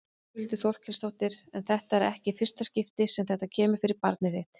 Þórhildur Þorkelsdóttir: En þetta er ekki í fyrsta skipti sem þetta kemur fyrir barnið þitt?